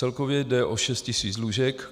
Celkově jde o šest tisíc lůžek.